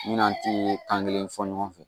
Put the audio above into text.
Min n'an ti kan kelen fɔ ɲɔgɔn fɛ